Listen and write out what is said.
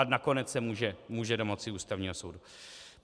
A nakonec se může domoci u Ústavního soudu.